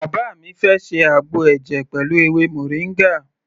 Bàbá mi fẹ́ ṣe àgbo ẹ̀jẹ̀ pẹ̀lú ewé moringa.